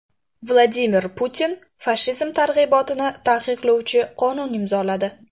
Vladimir Putin fashizm targ‘ibotini taqiqlovchi qonunni imzoladi.